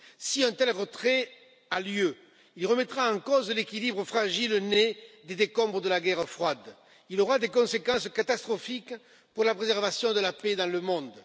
Si un tel retrait a lieu, il remettra en cause l'équilibre fragile né des décombres de la guerre froide et aura des conséquences catastrophiques pour la préservation de la paix dans le monde.